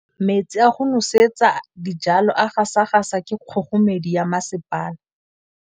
Metsi a go nosetsa dijalo a gasa gasa ke kgogomedi ya masepala.